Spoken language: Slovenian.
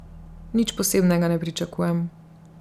Nič posebnega ne pričakujem.